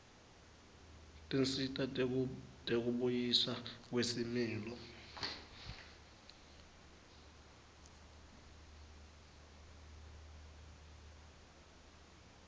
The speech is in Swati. tinsita tekubuyiswa kwesimilo